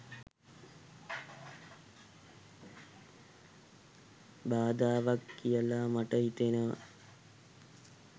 බාධාවක් කියල මට හිතෙනවා